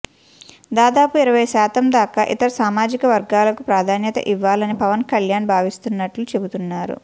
దాదాపు ఇరవై శాతం దాకా ఇతర సామాజికవర్గాలకు ప్రాధాన్యత ఇవ్వాలని పవన్కళ్యాణ్ భావిస్తున్నట్లు చెబుతున్నారు